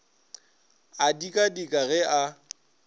a dika dika ge a